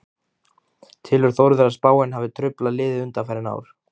Telur Þórður að spáin hafi truflað liðið undanfarin ár?